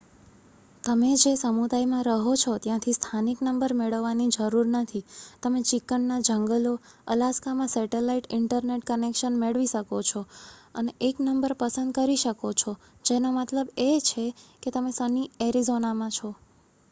તમે જે સમુદાયમાં રહો છો ત્યાંથી સ્થાનિક નંબર મેળવવાની જરૂર નથી તમે ચિકન ના જંગલો અલાસ્કામાં સેટેલાઇટ ઇન્ટરનેટ કનેક્શન મેળવી શકો છો અને એક નંબર પસંદ કરી શકો છો જેનો મતલબ એ છે કે તમે સની એરિઝોનામાં છો